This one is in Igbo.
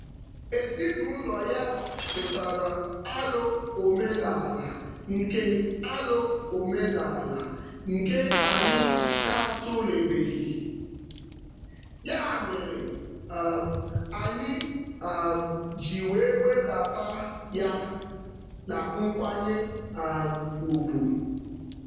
Ezinụụlọ ya tụtara alo omenaala nke alo omenaala nke anyị na-atụlebeghị, ya mere um anyị um ji wee webata ya na nkwanye um ugwu.